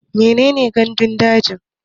Mene ne gandun daji?